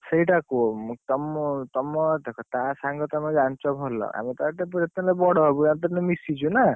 ସେଇଟା କୁହ ମୁଁ, ତମ ତମ ଦେଖ ତା ସାଙ୍ଗ ତମେ ଜାଣିଛ ଭଲ ଆମେ ତା ଠାରୁ ଯେତେହେଲେ ବଡ ହବୁ ୟାର ତମେ ତ ମିଶିଛ ନା?